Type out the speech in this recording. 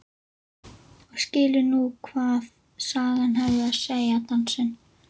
Og skilur nú hvað sagan hafði að segja, dansinn.